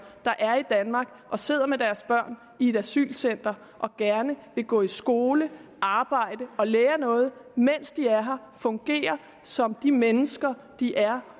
der er i danmark og sidder med deres børn i et asylcenter og gerne vil gå i skole arbejde og lære noget mens de er her fungere som de mennesker de er